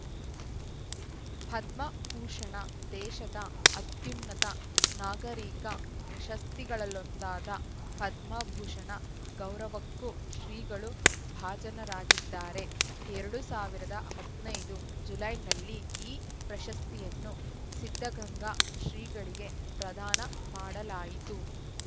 ಪದ್ಮಭೂಷಣ ದೇಶದ ಅತ್ಯುನ್ನತ ನಾಗರಿಕ ಪ್ರಶಸ್ತಿಗಳಲ್ಲೊಂದಾದ ಪದ್ಮಭೂಷಣ ಗೌರವಕ್ಕೂ ಶ್ರೀಗಳು ಭಾಜನರಾಗಿದ್ದಾರೆ ಎರಡು ಸಾವಿರದ ಹದ್ ನೈದು ಜುಲೈನಲ್ಲಿ ಈ ಪ್ರಶಸ್ತಿಯನ್ನು ಸಿದ್ಧಗಂಗಾ ಶ್ರೀಗಳಿಗೆ ಪ್ರದಾನ ಮಾಡಲಾಯಿತು